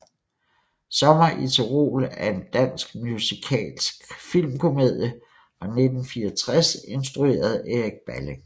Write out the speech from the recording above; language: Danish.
Sommer i Tyrol er en dansk musikalsk filmkomedie fra 1964 instrueret af Erik Balling